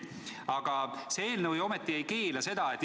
Aga see eelnõu ju tegelikult ei keela seda kohatasu maksmast.